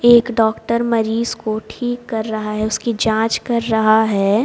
एक डॉक्टर मरीज को ठीक कर रहा है उसकी जांच कर रहा है।